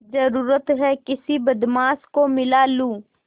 जरुरत हैं किसी बदमाश को मिला लूँ